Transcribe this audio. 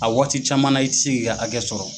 A waati caman na i tɛ se k'i ka hakɛ sɔrɔ.